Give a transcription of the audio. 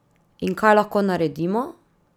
In kaj lahko naredimo?